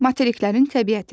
Materiklərin təbiəti.